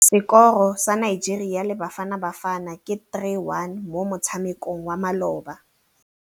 Sekôrô sa Nigeria le Bafanabafana ke 3-1 mo motshamekong wa malôba.